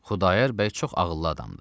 Xudayar bəy çox ağıllı adamdır.